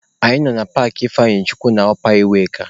Anyị nọ na paakị Ifeanyichukwu nke ọpa iweka..